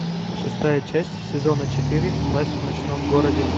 шестая часть сезона четыре власть в ночном городе